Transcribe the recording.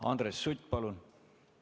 Andres Sutt, palun!